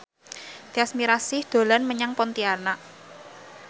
Tyas Mirasih dolan menyang Pontianak